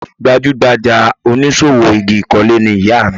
Gbajúgbajà oníṣòwò igi ìkọ́lé ni ìyá mi